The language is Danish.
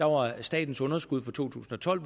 var at statens underskud for to tusind og tolv